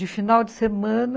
De final de semana,